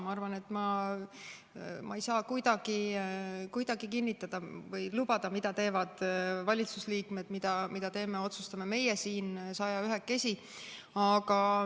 Ma arvan, et ma ei saa kuidagi kinnitada või lubada, mida teevad valitsusliikmed või mida teeme ja otsustame meie siin sajaühekesi.